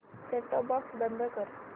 set top box बंद कर